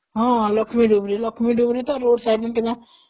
ହଁ ହଁ, ଲକ୍ଷ୍ମୀ ଡୁବୁରି ତ ରୋଡ଼ ସାଇଡ ରେ କିଣା